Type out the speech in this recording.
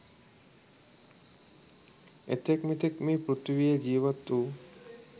එතෙක් මෙතෙක් මේ පෘථිවියේ ජීවත් වූ